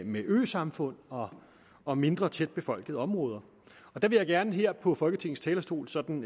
med øsamfund og og mindre tæt befolkede områder jeg vil gerne her på folketingets talerstol sådan